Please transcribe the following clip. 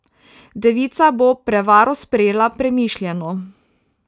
Devica bo prevaro sprejela premišljeno.